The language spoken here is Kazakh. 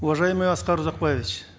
уважаемый аскар узакбаевич